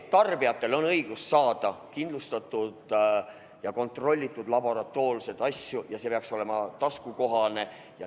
Tarbijatel on õigus saada laboratoorselt kontrollitud kaupa ja see peaks olema taskukohane.